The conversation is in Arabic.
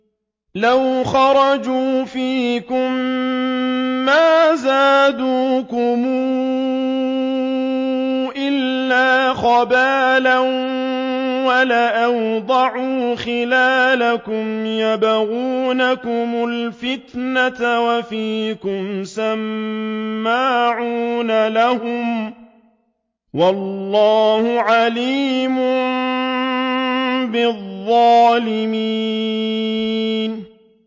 لَوْ خَرَجُوا فِيكُم مَّا زَادُوكُمْ إِلَّا خَبَالًا وَلَأَوْضَعُوا خِلَالَكُمْ يَبْغُونَكُمُ الْفِتْنَةَ وَفِيكُمْ سَمَّاعُونَ لَهُمْ ۗ وَاللَّهُ عَلِيمٌ بِالظَّالِمِينَ